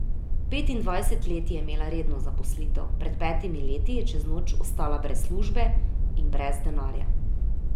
Petindvajset let je imela redno zaposlitev, pred petimi leti je čez noč ostala brez službe in brez denarja.